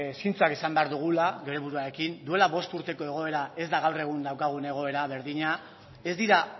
zintzoak izan behar dugula bere buruarekin duela bost urteko egoera ez da gaur egun daukagun egoera berdina ez dira